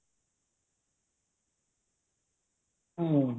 ହୁଁ